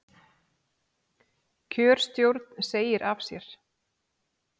Kjörstjórn segir af sér